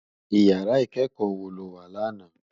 Iyàrá ikèékò wó ló wá làná?